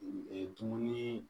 dumuni